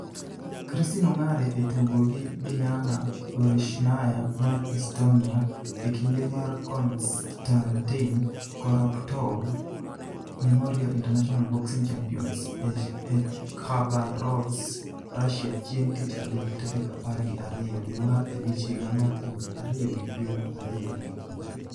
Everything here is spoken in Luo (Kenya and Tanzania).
Christine Ongare e tugo gi Diana Gorishnaya mar Estonia e kinde mar Konstantin Korotkov Memorial International Boxing Championships e Khabarovsk, Russia, chieng' tich adek tarik apar gi ariyo dwe mar abich higa mar aluf ariyo gi piero ariyo gi achiel.